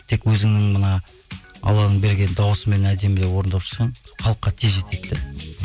тек өзіңнің мына алланың берген дауысыңмен әдемілеп орындап шықсаң халыққа тез жетеді де